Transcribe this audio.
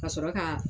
Ka sɔrɔ ka